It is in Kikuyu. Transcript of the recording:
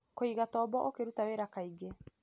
Kũigatombo ũkĩruta wĩra kaingĩ